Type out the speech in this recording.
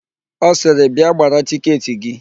Ọ sịrị, "bịa gbara tiketị gị"1